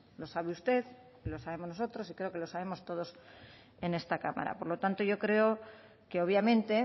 lo sabe usted lo sabemos nosotros y creo que lo sabemos todos en esta cámara por lo tanto yo creo que obviamente